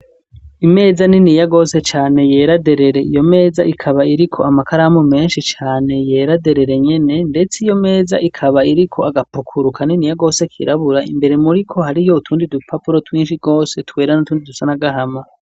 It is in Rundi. Imeza niniya gose cane yera derere, iyo meza ikaba iriko amakaramu menshi cane yera derere nyene, ndetse iyo meza ikaba iriko agapukuru kaniniya gose kirabura, imbere muriko hariyo utundi dupapuro twinshi gose twera n'utundi dusa n'agahama.